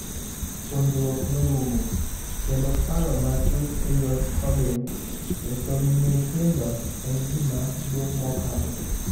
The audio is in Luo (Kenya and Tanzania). Puonjruok norumo kendo paro matut eyor coding esomb nyithindo en gima duong' mokalo.